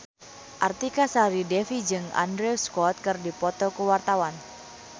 Artika Sari Devi jeung Andrew Scott keur dipoto ku wartawan